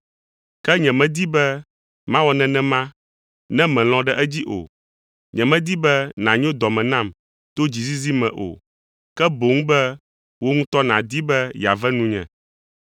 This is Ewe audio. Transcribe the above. Ke nyemedi be mawɔ nenema ne mèlɔ̃ ɖe edzi o. Nyemedi be nànyo dɔ me nam to dzizizi me o, ke boŋ be wò ŋutɔ nàdi be yeave nunye.